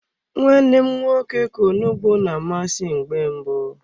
Nwa nne m nwoke ka onugbu na amasị mgbe mbụ.